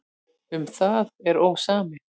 Um það er ósamið.